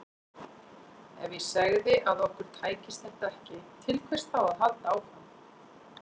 Ef ég segði að okkur tækist þetta ekki, til hvers þá að halda áfram?